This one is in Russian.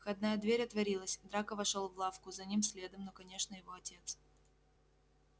входная дверь отворилась драко вошёл в лавку за ним следом ну конечно его отец